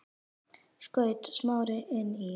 skaut Smári inn í.